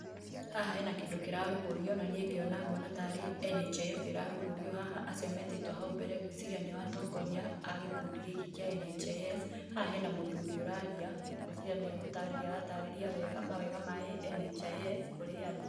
Haha hena kĩndũ kĩrarugũrio na nie ngĩona nguona tarĩ NHIF ĩrarugũrio haha, acio metĩtwo hau mbere ngwĩciria nĩo atongoria a gĩkundi gĩkĩ kĩa NHIF. Haha hena mũthuri ũraria ngwĩciria nĩgũtarĩrĩa aratarĩria wega mawega ma NHIF kũrĩ andũ.